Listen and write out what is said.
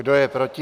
Kdo je proti?